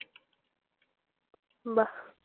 বাহ!